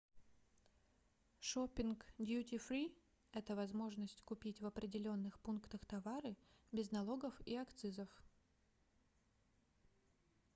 шопинг дьюти-фри - это возможность купить в определенных пунктах товары без налогов и акцизов